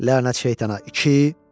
Lənət şeytana, iki!